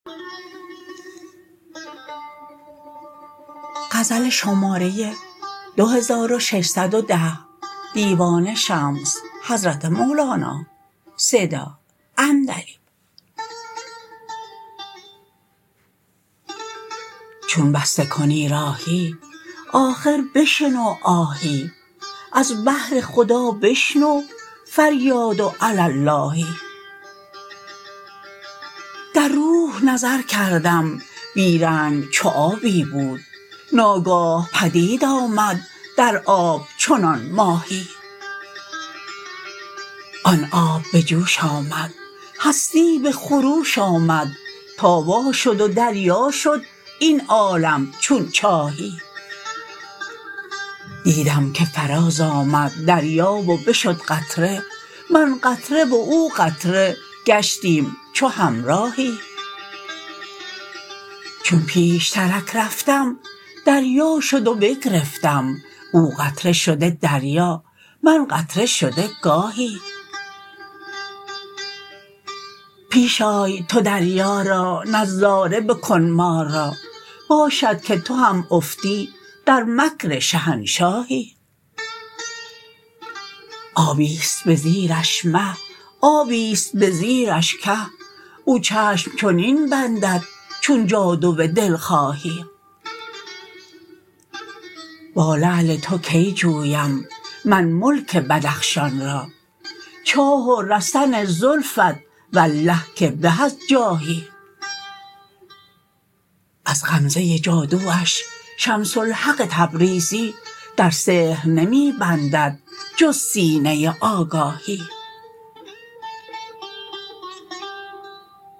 چون بسته کنی راهی آخر بشنو آهی از بهر خدا بشنو فریاد و علی اللهی در روح نظر کردم بی رنگ چو آبی بود ناگاه پدید آمد در آب چنان ماهی آن آب به جوش آمد هستی به خروش آمد تا واشد و دریا شد این عالم چون چاهی دیدم که فراز آمد دریا و بشد قطره من قطره و او قطره گشتیم چو همراهی چون پیشترک رفتم دریا شد و بگرفتم او قطره شده دریا من قطره شده گاهی پیش آی تو دریا را نظاره بکن ما را باشد که تو هم افتی در مکر شهنشاهی آبی است به زیرش مه آبی است به زیرش که او چشم چنین بندد چون جادو دلخواهی با لعل تو کی جویم من ملک بدخشان را چاه و رسن زلفت والله که به از جاهی از غمزه جادواش شمس الحق تبریزی در سحر نمی بندد جز سینه آگاهی